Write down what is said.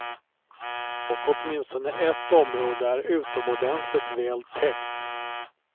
Och åtminstone ett område är utomordentligt väl täckt.